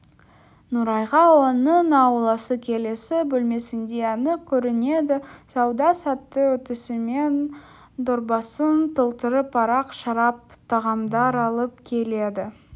нұрайға оның ауласы келесі бөлмесіндей анық көрінеді сауда сәтті өтісімен дорбасын толтырып арақ шарап тағамдар алып келеді